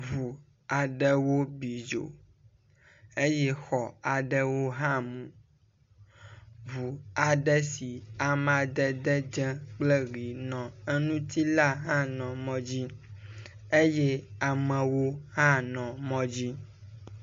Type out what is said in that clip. Ŋu aɖewo bi dzo eye xɔ aɖewo hã mu. Ŋu aɖe si amadede dzẽ kple ʋi nɔ eŋuti la hã nɔ mɔ dzi eye amewo hã nɔ mɔ dzi.